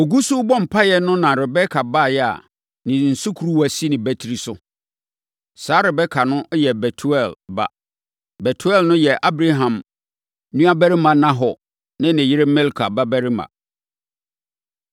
Ɔgu so rebɔ mpaeɛ no na Rebeka baeɛ a ne sukuruwa si nʼabati so. Saa Rebeka no yɛ Betuel ba. Betuel no nso yɛ Abraham nuabarima Nahor ne ne yere Milka babarima.